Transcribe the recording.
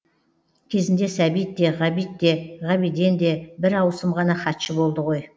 кезінде сәбит те ғабит те ғабиден де бір ауысым ғана хатшы болды ғой